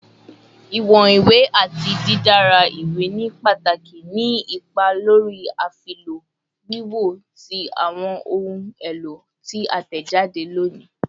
Iwọn iwe ati didara iwe ni pataki ni ipa lori afilọ wiwo ti awọn ohun elo ti a tẹjade loni